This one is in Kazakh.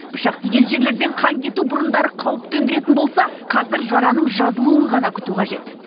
пышақ тиген жерлерден қан кету бұрындары қауіп төндіретін болса қазір жараның жазылуын ғана күту қажет